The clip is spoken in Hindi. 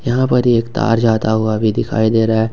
यहां पर एक तार जाता हुआ भी दिखाई दे रहा है।